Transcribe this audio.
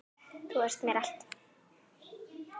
Þú varst mér allt.